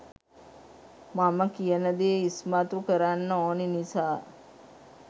මම කියන දේ ඉස්මතු කරන්න ඕනි නිසා